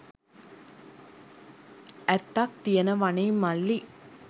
ඇත්තක් තියනවනෙ මල්ලි.